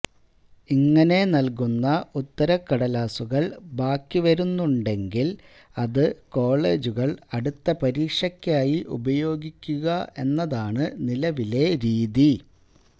ഇങ്ങനെ നല്കുന്ന ഉത്തരക്കടലാസുകള് ബാക്കിവരുന്നുണ്ടെങ്കില് അത് കോളേജുകള് അടുത്ത പരീക്ഷക്കായി ഉപയോഗിക്കുക എന്നതാണ് നിലവിലെ രീതി